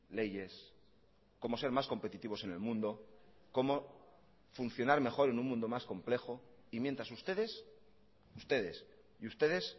leyes cómo ser más competitivos en el mundo cómo funcionar mejor en un mundo más complejo y mientras ustedes ustedes y ustedes